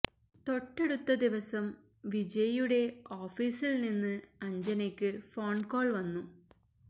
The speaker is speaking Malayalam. തൊട്ടടുത്ത ദിവസം വിജയ് യുടെ ഓഫീസില് നിന്ന് അഞ്ജനയ്ക്ക് ഫോണ് കോള് വന്നു